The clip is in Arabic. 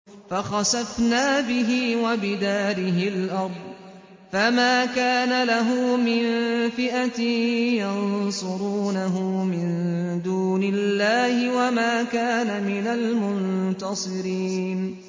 فَخَسَفْنَا بِهِ وَبِدَارِهِ الْأَرْضَ فَمَا كَانَ لَهُ مِن فِئَةٍ يَنصُرُونَهُ مِن دُونِ اللَّهِ وَمَا كَانَ مِنَ الْمُنتَصِرِينَ